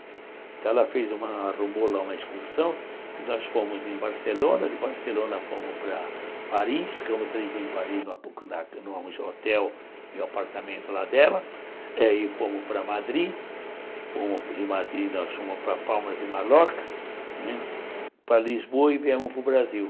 Então ela fez uma arrumou uma excursão, nós fomos em Barcelona, de Barcelona fomos para Paris, ficamos três dias em Paris num hotel e apartamento lá dela, e fomos para Madrid, de Madrid nós fomos para Palmas e Mallorca, né para Lisboa e viemos para o Brasil.